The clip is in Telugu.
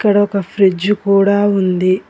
ఇక్కడ ఒక ఫ్రిడ్జ్ కూడా ఉంది.